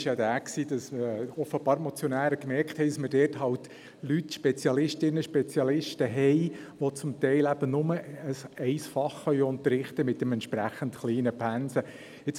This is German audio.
Das war ja jener, wo die Motionäre offenbar gemerkt haben, dass wir dort halt Spezialistinnen und Spezialisten haben, die zum Teil eben nur ein Fach mit entsprechend kleinen Pensen unterrichten können.